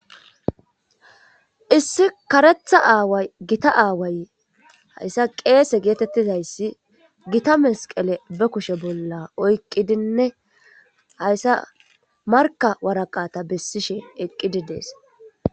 lssi karetha aaway giita aaway hayssa qeese geetettizayssi giita mesqele be kushe bolla oyqqidinne hayssa marka waraqata bessishe eqqididees.